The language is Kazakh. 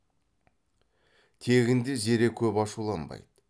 тегінде зере көп ашуланбайды